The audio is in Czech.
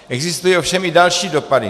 Existují ovšem i další dopady.